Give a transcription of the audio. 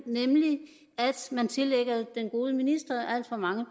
nemlig at man tillægger den gode minister alt for mange